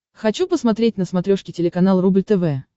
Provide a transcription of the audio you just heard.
хочу посмотреть на смотрешке телеканал рубль тв